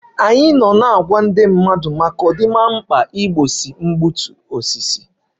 Anyị anọwo na-enwe mmetụta na ndị mmadụ na mkpa ọ dị igbochi mkpochapu oke ohia